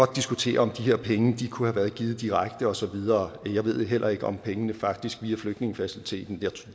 diskutere om de her penge kunne have været givet direkte og så videre jeg ved heller ikke om pengene faktisk kører via flygtningefaciliteten